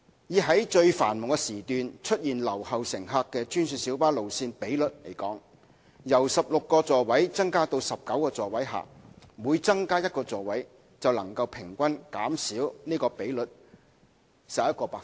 以在最繁忙時段出現留後乘客的專線小巴路線比率而言，在把座位數目由16個增加至19個的情況下，每增加一個座位能平均減少該比率11個百分點。